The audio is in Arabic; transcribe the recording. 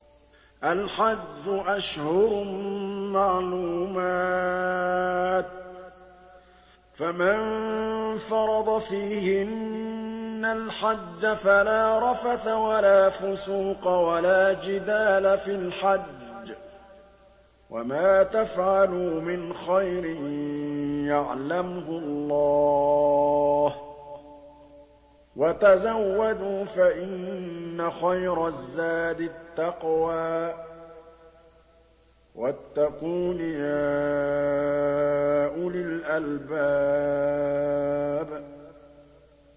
الْحَجُّ أَشْهُرٌ مَّعْلُومَاتٌ ۚ فَمَن فَرَضَ فِيهِنَّ الْحَجَّ فَلَا رَفَثَ وَلَا فُسُوقَ وَلَا جِدَالَ فِي الْحَجِّ ۗ وَمَا تَفْعَلُوا مِنْ خَيْرٍ يَعْلَمْهُ اللَّهُ ۗ وَتَزَوَّدُوا فَإِنَّ خَيْرَ الزَّادِ التَّقْوَىٰ ۚ وَاتَّقُونِ يَا أُولِي الْأَلْبَابِ